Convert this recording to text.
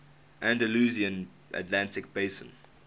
andalusian atlantic basin